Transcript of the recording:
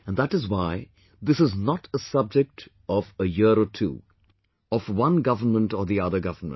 And that is why this is not a subject of a year or two; of one government or the other government